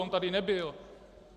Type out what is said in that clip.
On tady nebyl.